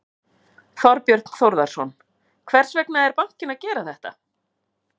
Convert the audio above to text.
Þorbjörn Þórðarson: Hvers vegna er bankinn að gera þetta?